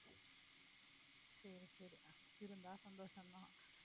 சரி சரி. புடிச்சிருந்தா சந்தோஷம் தான்.